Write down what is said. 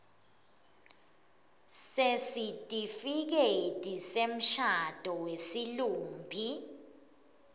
sesitifiketi semshado wesilumbi